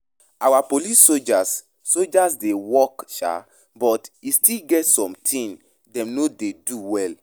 Our police and soldiers soldiers dey work shaa but e still get some things dem no dey do well